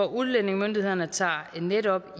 udlændingemyndighederne tager netop